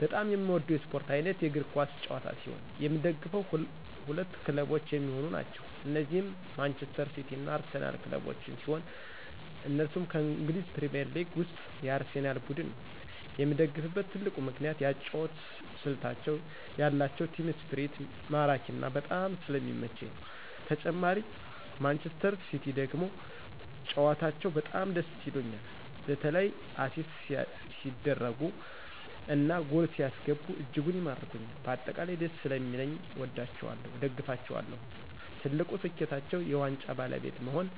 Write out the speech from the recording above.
በጣም የምወደው የስፖርት አይነት የእግር ኳስ ጨዋታ ሲሆን የምደግፈው ሁለት ክለቦች የሚሆኑ ናቸው እነዚህም ማንጅስተር ሲቲ እና አርሲናል ክለቦችን ሲሆን እነሱም ከእንግሊዝ ፕሪሜርሊግ ውስጥ የአርሴናል ቡድን ነው የምደግፍበት ትልቁ ምክንያት የአጨዋወት ስልታቸው የአላቸው ቲም እስፕሪት ማራኪና በጣም ስለሚመቸኝ ነው ተጨማሪ ማንጅስተር ሲቲ ደግሞ ጨዋታቸው በጣም ደስ ይሉኞል በተላ አሲስት ሲደርጉ እና ጎል ሲያስገቡ እጅጉን ይማርኩኞል በአጠቃላይ ደስ ሰለሚለኝ አወዳቸዋለሁ እደግፋቸዋለሁም። ትልቁ ስኬታቸው የዋንጫ ባለቤት መሆን